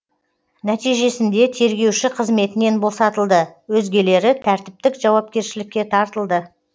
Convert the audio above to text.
нәтижесінде тергеуші қызметінен босатылды өзгелері тәртіптік жауапкершілікке тартылды